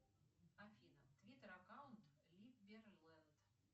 афина твиттер аккаунт либерленд